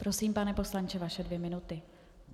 Prosím, pane poslanče, vaše dvě minuty.